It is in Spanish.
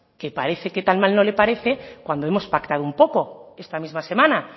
que parece que tan mal no le parece cuando hemos pactado un poco esta misma semana